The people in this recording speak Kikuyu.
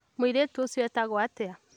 Mũirĩtu ũcio etagwo atĩa?